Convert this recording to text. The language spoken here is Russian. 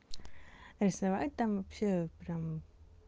нарисовать там всё прям